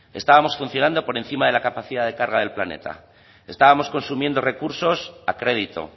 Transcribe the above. estábamos funcionando por encima de la capacidad de carga del planeta estábamos consumiendo recursos a crédito